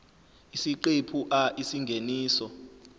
isiqephu a isingeniso